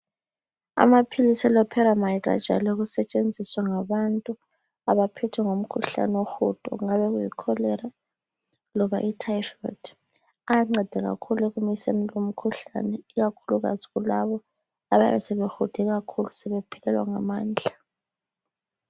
Amaphilisi eloperamide ajayele ukusetshenziswa ngabantu abaphethwe ngumkhuhlane wohudo kungabe kuyi kholera loba ithayifodi ayanceda kakhulu ekumiseni lumkhuhlane ikakhulukazi kulaba abayabe sebehude kakhulu sebephelelwa ngamandla.